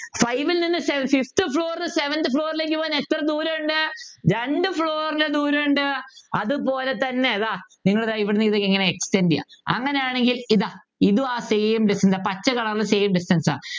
five ൽ നിന്ന് Fifth floor ന്നു Seventh floor ലേക്ക് പോകാൻ എത്ര ദൂരമുണ്ട് രണ്ടു Floor ൻ്റെ ദൂരമുണ്ട് അതുപോലെതന്നെ ഇതാ നിങ്ങൾ ഇവിടുന്ന് ഇത് ഇങ്ങനെ Extend ചെയ്യുക അങ്ങനെയാണെങ്കിൽ ഇതാ ഇതും ആ Same distance പച്ച Color ൽ Same distance ആ